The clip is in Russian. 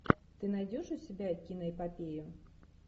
ты найдешь у себя киноэпопею